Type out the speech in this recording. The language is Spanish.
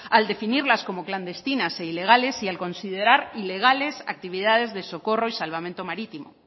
al definirlas como clandestinas e ilegales y al considerar ilegales actividades de socorro y salvamento marítimo